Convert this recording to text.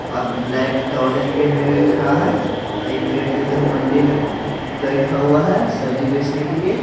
और black trousers पहने हुए खड़ा है एक व्यक्ति उधर मंडी में बैठा हुआ है सब्जी बेचने के लिए।